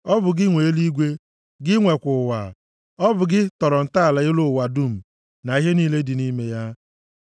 Ọ bụ gị nwe eluigwe; gị nwekwa ụwa, ọ bụ gị tọrọ ntọala elu ụwa dum, na ihe niile dị nʼime ya.